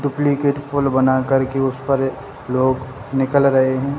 Duplicate पुल बना कर के उस पर लोग निकल रहे है।